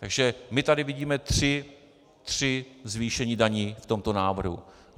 Takže my tady vidíme tři zvýšení daní v tomto návrhu.